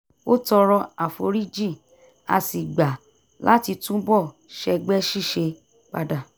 ó tọrọ àforíjì a sì gbà láti tún bọ̀ sẹ́gbẹ́ ṣíṣe padà